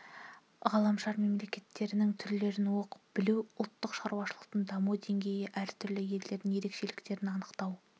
ғаламшар мемлекеттерінің түрлерін оқып-білу ұлттық шаруашылықтың даму деңгейі әртүрлі елдердің ерекшеліктерін анықтау